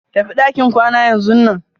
Tafi ɗakin kwana yanzunan.